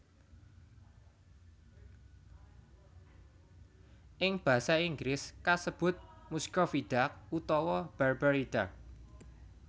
Ing basa Inggris kasebut Muscovy Duck utawa Barbary Duck